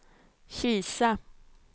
Kisa